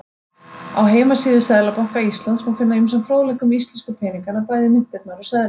Á heimasíðu Seðlabanka Íslands má finna ýmsan fróðleik um íslensku peningana, bæði myntirnar og seðla.